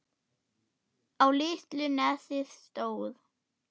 Á litlu nesi stóð